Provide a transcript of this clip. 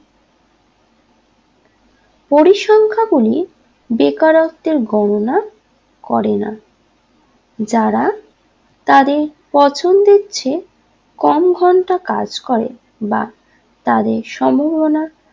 পরিসংখ্যা গুলি বেকারত্বের গণনা করেনা যারা তাদের পছন্দের চেয়ে কম ঘন্টা কাজ করে বা তাদের সম্ভবনা